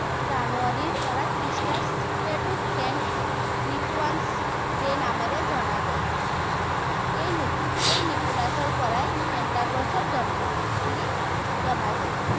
জানুৱাৰীপৰা Christmas, এইটো saint Nicholas day নামে জনা যায়। এই নিকোলাচৰপৰাই চান্তাক্লজৰ জন্ম হয় বুলি জনা যায়।